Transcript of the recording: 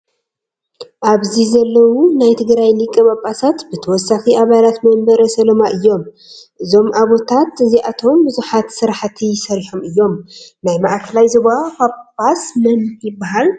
ኣብዚ ዘለው ናይ ትግራይ ሊቀ-ፓፓሳት ብተወሳኪ ኣባላት መምበረ ሰላማ እዮም። እዞም ኣቦታት እዚኣቶም ብዙሓት ስራሕቲ ሰሪሖም እዮም። ናይ ማእከላይ ዞባ ፓፓስ መን ይበሃሉ ?